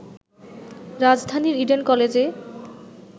রাজধানীর ইডেন কলেজে